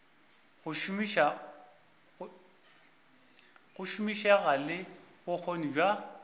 go šomišega le bokgoni bja